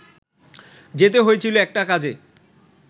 যেতে হয়েছিল একটা কাজে